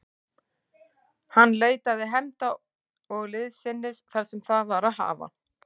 Hann leitaði hefnda og liðsinnis þar sem það var að hafa.